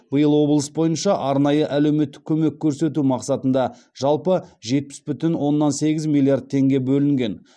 биыл облыс бойынша арнайы әлеуметтік көмек көрсету мақсатында жалпы жетпіс бүтін оннан сегіз миллиард теңге бөлінген